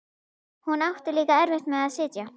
Hún átti líka erfitt með að sitja.